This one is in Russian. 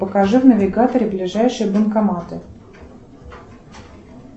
покажи в навигаторе ближайшие банкоматы